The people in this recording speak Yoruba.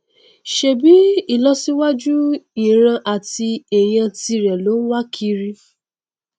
ṣèbí ìlọsíwájú ìran àti ẹyà tirẹ ló nwá kiiri